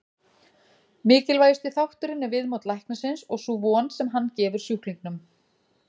Mikilvægasti þátturinn er viðmót læknisins og sú von sem hann gefur sjúklingnum.